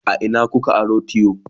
a Ina kuka aro tiyo?